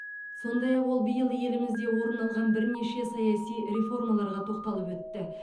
сондай ақ ол биыл елімізде орын алған бірнеше саяси реформаларға тоқталып өтті